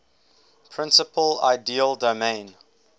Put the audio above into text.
principal ideal domain